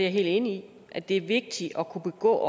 jeg helt enig i at det er vigtigt at kunne begå